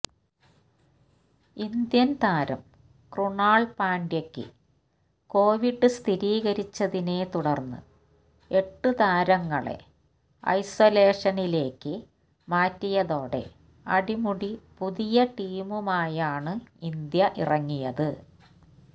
Indian താരം ക്രുണാല് പാണ്ഡ്യയ്ക്കു കോവിസ് സഥിരീകരിച്ചതിനെത്തുടര്ന്ന് എട്ടു താരങ്ങളെ ഐസൊലേഷനിലേക്ക് മാറ്റിയതോടെ അടിമുടി പുതിയ ടീമുമായാണ് ഇന്ത്യ ഇറങ്ങിയത്